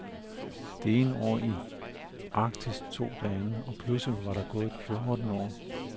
Det ene år i arktis tog det andet, og pludselig var der gået fjorten år.